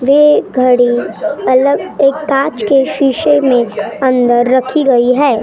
एक गाड़ी अलग एक कांच के शीशे में अंदर रखी गयी हैं।